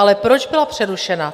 Ale proč byla přerušena?